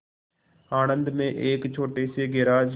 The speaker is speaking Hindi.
आणंद में एक छोटे से गैराज